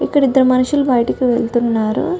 ఇక్కడ ఇద్దరు మనుషులు బయటకి వెళ్తున్నారు.